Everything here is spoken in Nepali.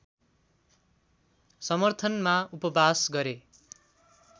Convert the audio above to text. समर्थनमा उपवास गरे